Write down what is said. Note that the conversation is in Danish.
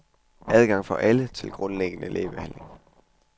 Adgang for alle til grundlæggende lægebehandling.